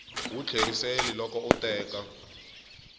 wu tlheriseli loko u teka